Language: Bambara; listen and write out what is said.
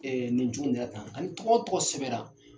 Ɛɛ nin cogo in de la tan tɔgɔ o tɔgɔ sɛbɛra!